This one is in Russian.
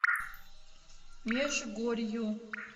межгорью